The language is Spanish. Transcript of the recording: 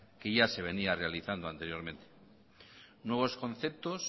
que ya se venía realizando anteriormente nuevos conceptos